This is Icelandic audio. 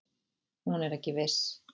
Hún er ekki viss.